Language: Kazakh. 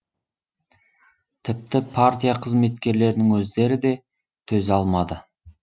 тіпті партия қызметкерлерінің өздері де төзе алмады